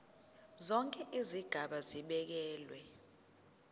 zonke izigaba zibekelwe